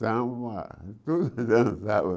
Samba, tudo dançava.